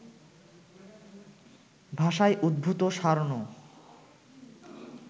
ভাষায় উদ্ভূত সার্নো